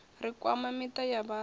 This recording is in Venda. ri kwama miṱa ya vhathi